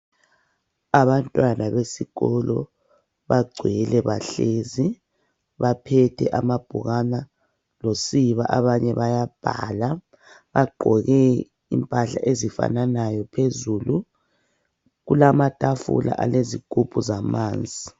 Abantwana besikolo bagcwele bahlezi baphethi amabhukana losiba banye bayabhala bagqoke impahla ezifananayo phezulu kulamatafula alezigubhu zamanzi.